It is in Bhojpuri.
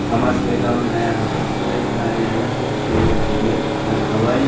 हमरा सब के गांव में नया होटल खुले इहा आय आल हेते होटल में घूमे खाना खेवे।